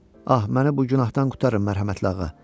Ah, məni bu günahdan qurtarın, mərhəmətli ağa.